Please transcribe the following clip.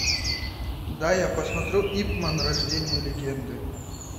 дай я посмотрю ип ман рождение легенды